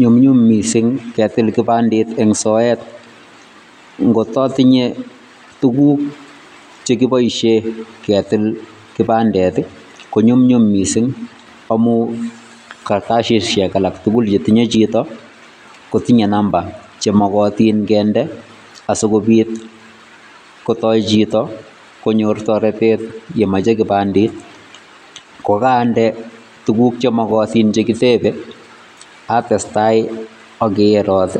Nyumnyum mising ketil kipandet eng soet, ngotka tinyei tuguk che kipoishen ketil kipandet konyumnyum mising amun karatasisiek alak tugul yetinye chito kotinyei namba che makatin kinde asikopit kotou chito konyor toretet komachei kipandit, ko kande tuguk chemakatin che kitepe atestai akerot